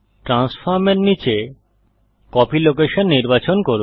ট্রান্সফর্মের নীচে copy location নির্বাচন করুন